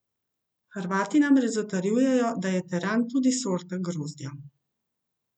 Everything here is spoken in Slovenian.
Hrvati namreč zatrjujejo, da je teran tudi sorta grozdja.